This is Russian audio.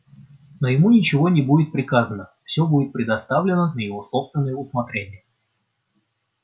но ему ничего не будет приказано всё будет предоставлено на его собственное усмотрение